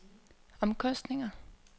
omkostninger